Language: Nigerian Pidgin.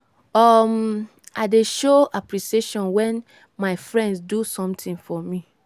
um i dey show appreciation wen my friends do sometin for me.